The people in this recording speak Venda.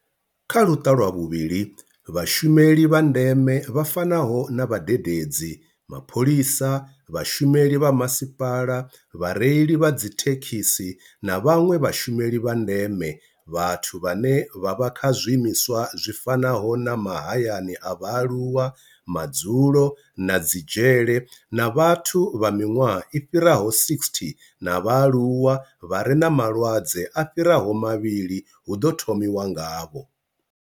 Kha Luṱa lwa vhuvhili, Vhashumeli vha ndeme vha fanaho na vhadededzi, mapholisa, vhashumeli vha masipala, vhareili vha dzithe khisi na vhanwe vhashumeli vha ndeme, vhathu vhane vha vha kha zwiimiswa zwi fanaho na mahayani a vhaaluwa, madzulo na dzi dzhele, na vhathu vha miṅwaha i fhiraho 60 na vhaaluwa vha re na malwadze a fhiraho mavhili hu ḓo thomiwa ngavho.